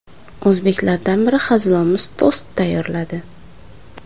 O‘zbeklardan biri hazilomuz tost tayyorladi.